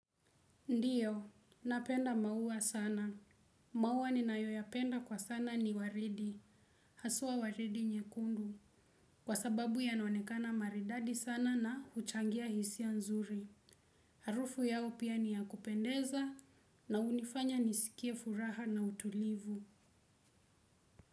Ndiyo, napenda maua sana. Maua ninayoyapenda kwa sana ni waridi. Haswa waridi nyekundu. Kwa sababu yanaonekana maridadi sana na huchangia hisia nzuri. Harufu yao pia ni ya kupendeza na hunifanya niskie furaha na utulivu.